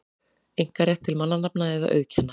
einkarétt til mannanafna eða auðkenna.